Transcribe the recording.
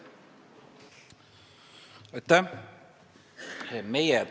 Aitäh!